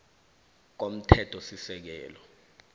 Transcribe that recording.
komthethosisekelo